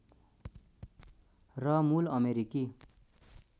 र मूल अमेरिकी